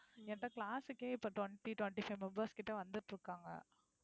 என்கிட்ட class க்கே இப்போ twenty~ twenty five members கிட்ட வந்துட்டு இருக்காங்க.